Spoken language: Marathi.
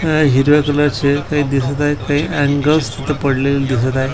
हिरव्या कलर चे ते दिसत आहेत ते अँगल्स तिथं पडलेले दिसत आहेत.